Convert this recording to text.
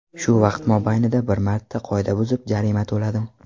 Shu vaqt mobaynida bir marta qoida buzib, jarima to‘ladim.